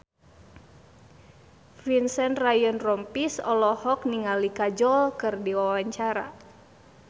Vincent Ryan Rompies olohok ningali Kajol keur diwawancara